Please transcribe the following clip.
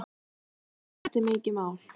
Jú, þetta er mikið mál.